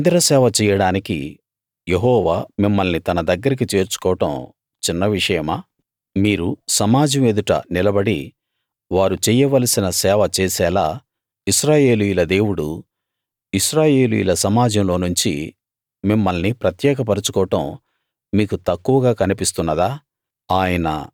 తన మందిరసేవ చెయ్యడానికి యెహోవా మిమ్మల్ని తన దగ్గరికి చేర్చుకోవడం చిన్న విషయమా మీరు సమాజం ఎదుట నిలబడి వారు చెయ్యవలసిన సేవ చేసేలా ఇశ్రాయేలీయుల దేవుడు ఇశ్రాయేలీయుల సమాజంలోనుంచి మిమ్మల్ని ప్రత్యేక పరచుకోవడం మీకు తక్కువగా కనిపిస్తున్నదా